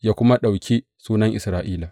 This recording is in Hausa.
ya kuma ɗauki sunan Isra’ila.